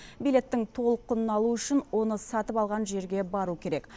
билеттің толық құнын алу үшін оны сатып алған жерге бару керек